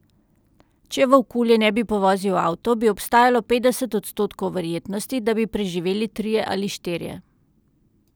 Če volkulje ne bi povozil avto, bi obstajalo petdeset odstotkov verjetnosti, da bi preživeli trije ali štirje.